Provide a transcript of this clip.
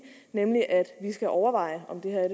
nemlig at vi skal overveje om det her er